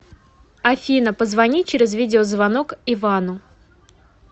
афина позвони через видеозвонок ивану